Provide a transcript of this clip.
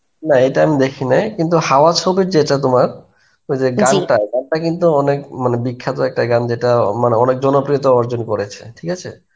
না, ইটা আমি দেখি নাই. কিন্তু হাওয়া ছবির যেটা তোমার ওইযে গানটা, গানটা কিন্তু অনেক মানে বিখাত্য গান যেটা মানে অনেক জনপ্রিয়তা অর্জন করেছে. ঠিক আছে.